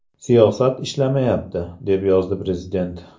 Siyosat ishlamayapti”, deb yozdi prezident.